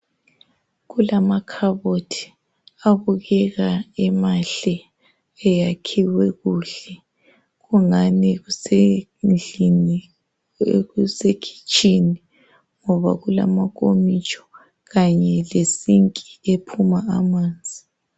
kulamakhabothi abukeka emahle eyakhiwe kuhle kungani kusendlini kuse kitshini ngoba kulama nkomitsho kanye le sinki ephuma amanzi